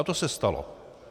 A to se stalo.